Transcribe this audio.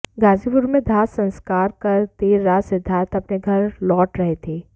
गाजीपुर में दाह संस्कार कर देर रात सिद्धार्थ अपने घर लौट रहे थे